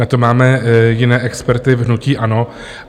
Na to máme jiné experty v hnutí ANO.